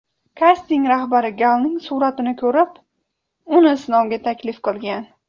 Kasting rahbari Galning suratini ko‘rib, uni sinovga taklif qilgan.